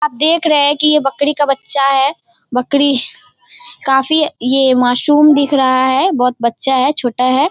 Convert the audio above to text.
आप देख रहे हैं की ये बकरी का बच्चा है। बकरी काफी ये माशूम दिख रहा है। बहुत बच्चा है छोटा है।